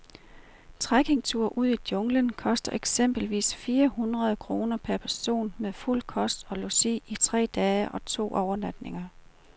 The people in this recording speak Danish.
Trekkingture ud i junglen koster eksempelvis omkring fire hundrede kroner per person med fuld kost og logi for tre dage og to overnatninger.